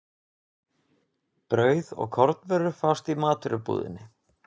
Brauð og kornvörur fást í matvörubúðinni.